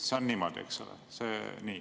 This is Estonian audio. See on niimoodi, eks ole?